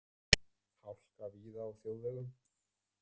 Hálka víða á þjóðvegum